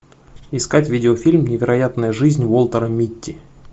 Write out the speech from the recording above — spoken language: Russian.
искать видеофильм невероятная жизнь уолтера митти